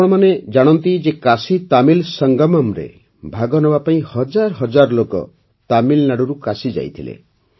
ଆପଣ ଜାଣନ୍ତି ଯେ କାଶୀତାମିଲ ସଙ୍ଗମମ୍ରେ ଭାଗ ନେବା ପାଇଁ ହଜାରହଜାର ଲୋକ ତାମିଲନାଡୁରୁ କାଶୀ ଯାଇଥିଲେ